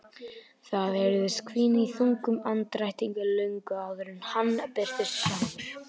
Það heyrðist hvína í þungum andardrættinum löngu áður en hann birtist sjálfur.